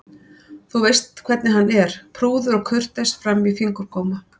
Þú veist hvernig hann er, prúður og kurteis fram í fingurgóma.